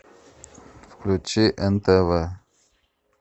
включи нтв